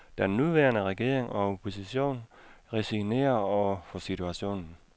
Den nuværende regering og opposition resignerer over for situationen.